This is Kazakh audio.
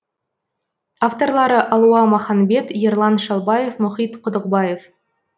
авторлары алуа маханбет ерлан шалбаев мұхит құдықбаев